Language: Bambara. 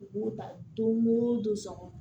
U b'u ta don o don so kɔnɔ